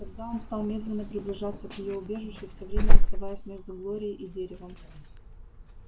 тогда он стал медленно приближаться к её убежищу всё время оставаясь между глорией и деревом